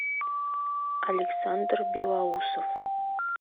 александр белоусов